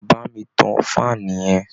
Bá mi tan fan yẹn!